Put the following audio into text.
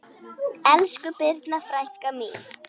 Elsku Birna frænka mín.